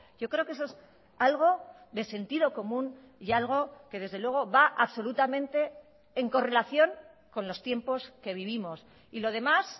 yo creo que eso es algo de sentido común y algo que desde luego va absolutamente en correlación con los tiempos que vivimos y lo demás